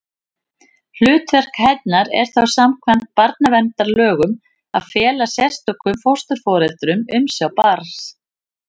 Hlutverk hennar er þá samkvæmt barnaverndarlögum að fela sérstökum fósturforeldrum umsjá barns.